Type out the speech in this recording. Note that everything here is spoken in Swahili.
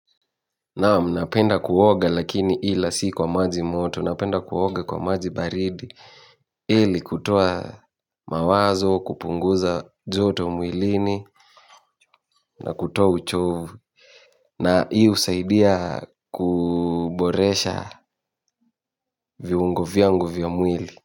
Naamu, napenda kuoge lakini ila si kwa maji moto, napenda kuoga kwa maji baridi. Ili kutoa mawazo, kupunguza joto mwilini na kutoa uchovu. Na hii husaidia kuboresha viungo vyangu vya mwili.